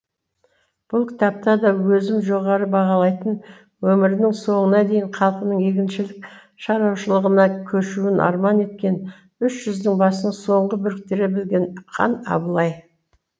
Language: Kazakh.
бұл кітапта да өзім жоғары бағалайтын өмірінің соңына дейін халқының егіншілік шаруашылығына көшуін арман еткен үш жүздің басын соңғы біріктіре білген хан абылай